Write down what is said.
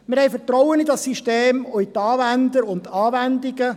Wir haben Vertrauen in dieses System sowie in die Anwender und die Anwendungen.